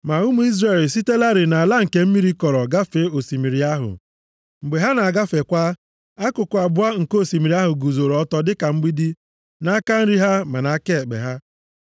Ma ụmụ Izrel esitelarị nʼala nke mmiri kọrọ gafee osimiri ahụ. Mgbe ha na-agafekwa, akụkụ abụọ nke osimiri ahụ guzoro ọtọ dịka mgbidi, nʼaka nri ha ma nʼaka ekpe ha.